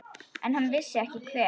En hann vissi ekki hver.